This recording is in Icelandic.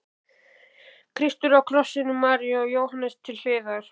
Kristur á krossinum, María og Jóhannes til hliðar.